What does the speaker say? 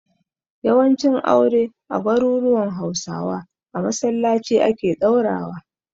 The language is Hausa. Yawancin aure a garuruwan Hausawa a masallaci ake ɗaurawa.